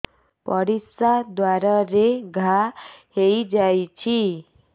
ପରିଶ୍ରା ଦ୍ୱାର ରେ ଘା ହେଇଯାଇଛି